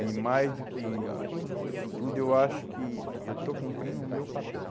E mais do que do que tudo, eu acho que eu estou cumprindo o meu papel.